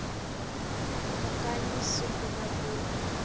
u nga si sungula ku